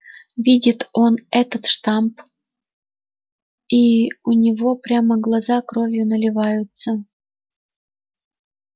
видит он этот штамп и у него прямо глаза кровью наливаются